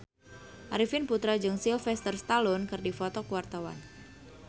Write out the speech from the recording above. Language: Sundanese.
Arifin Putra jeung Sylvester Stallone keur dipoto ku wartawan